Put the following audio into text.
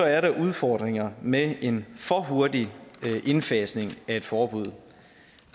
er der udfordringer med en for hurtig indfasning af et forbud